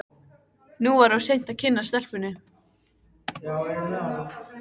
Nú var of seint að kynnast stelpunni.